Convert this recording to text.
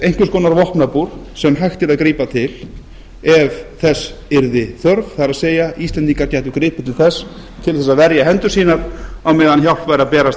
einhvers konar vopnabúr sem hægt yrði að grípa til ef þess yrði þörf það er íslendingar gætu gripið til þess til að verja hendur sínar á meðan hjálp væri að berast